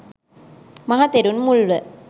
මහතෙරුන් මුල්ව